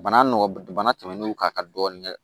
Bana nɔgɔ bana tɛmɛnw kan ka dɔɔni kɛ